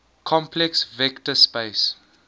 complex vector space